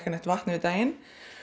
vatn yfir daginn